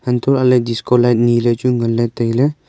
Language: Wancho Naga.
antoh lah ley disco light nile chu ngan ley tailey.